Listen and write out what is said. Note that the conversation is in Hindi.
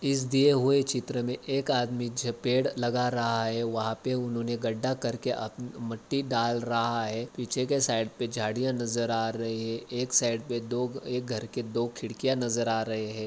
दिए हुए चित्र मे एक आदमी झ पेड़ लगा रहा है वहाँ पे उन्होंने गढ्ढा करके आप मिट्टी डाल रहा है पीछे के साइड पे झाडियाँ नज़र आ रही है एक साइड पे दो एक घर के दो खिड़कियाँ नज़र आ रहे है।